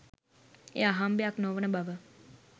එය අහම්බයක් නොවන බව